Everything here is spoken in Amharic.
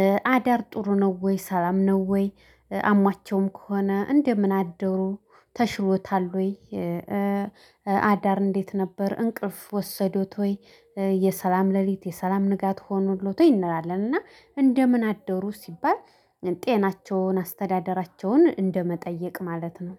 እ አዳር ጥሩ ነው ወይ ሰላም ነው ወይ? እ አሟቸውም ከሆነ እንደምን አደሩ ተሽሎታል ወይ? እ አዳር እንዴት ነበር እንቅልፍ ወሰዶት ወይ? የሰላም ሌሊት የሰላም ንጋት ሆኖሎት ወይ? እንላለንና እንደምን አደሩ ሲባል ጤናቸውን አስተዳደራቸውን እንደመጠየቅ ማለት ነው